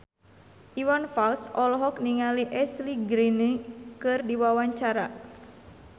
Iwan Fals olohok ningali Ashley Greene keur diwawancara